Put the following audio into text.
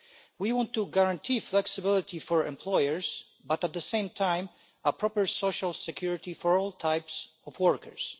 We want to guarantee flexibility for employers but, at the same time, proper social security for all types of workers.